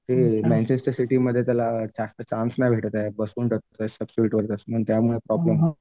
ते मँचेस्टर सिटीमध्ये त्याला जास्त चान्स नाही भेटत आहे त्याला त्यामुळे प्रॉब्लेम